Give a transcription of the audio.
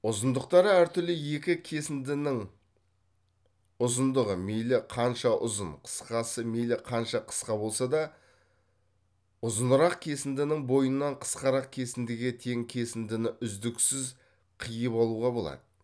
ұзындықтары әр түрлі екі кесіндінің ұзындығы мейлі қанша ұзын қысқасы мейлі қанша қысқа болса да ұзынырақ кесіндінің бойынан қысқарақ кесіндіге тең кесіндіні үздіксіз қыйып алуға болады